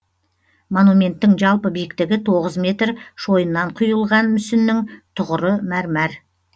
монументтің жалпы биіктігі тоғыз метр шойыннан кұйылған мүсіннің түғыры мәрмәр